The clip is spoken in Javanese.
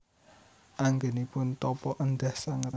Anggenipun tapa endah sanget